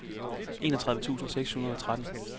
enogtredive tusind seks hundrede og tretten